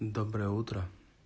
доброе утро